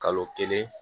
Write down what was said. Kalo kelen